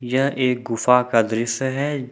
यह एक गुफा का दृश्य है।